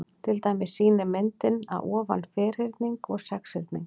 Til dæmis sýnir myndin að ofan ferhyrning og sexhyrning.